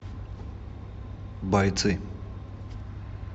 бойцы